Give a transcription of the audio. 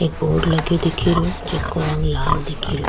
एक बोर्ड लगयो दिखे रेहो जेको रंग लाल दिखे रो।